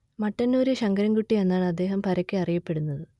മട്ടന്നൂർ ശങ്കരൻ കുട്ടി എന്നാണ് അദ്ദേഹം പരക്കെ അറിയപ്പെടുന്നത്